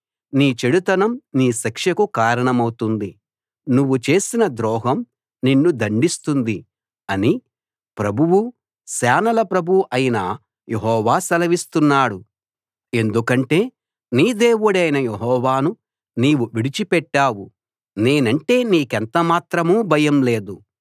నీ చెడుతనం నీ శిక్షకు కారణమౌతుంది నువ్వు చేసిన ద్రోహం నిన్ను దండిస్తుంది అని ప్రభువు సేనల ప్రభువు అయిన యెహోవా సెలవిస్తున్నాడు ఎందుకంటే నీ దేవుడైన యెహోవాను నీవు విడిచిపెట్టావు నేనంటే నీకెంత మాత్రం భయం లేదు